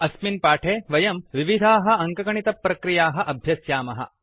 अस्मिन् पाठे वयं विविधाः अङ्कगणितप्रक्रियाः अभ्यस्यामः